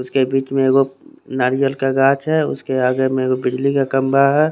उसके बिच में वो नारियल का काच है उसके आगे मेवे बिजली का खम्बा है।